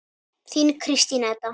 Þín Kristín Edda.